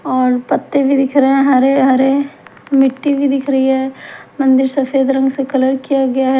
और पत्ते भी दिख रहे है हरे हरे मिट्टी भी दिख रही है मंदिर सफेद रंग से कलर किया गया है।